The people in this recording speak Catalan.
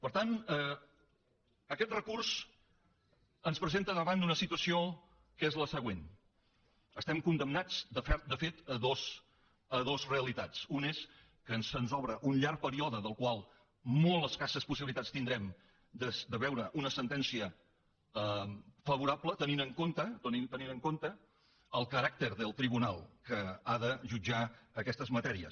per tant aquest recurs ens presenta davant d’una situació que és la següent estem condemnats de fet a dues realitats una és que se’ns obre un llarg període del qual molt escasses possibilitats tindrem de veure una sentència favorable tenint en compte el caràcter del tribunal que ha de jutjar aquestes matèries